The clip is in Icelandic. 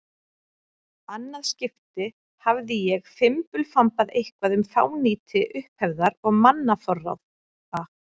annað skipti hafði ég fimbulfambað eitthvað um fánýti upphefðar og mannaforráða.